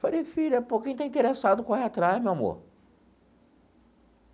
Falei, filha, pô, quem está interessado corre atrás, meu amor.